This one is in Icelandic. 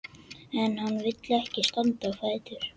En hann vill ekki standa á fætur.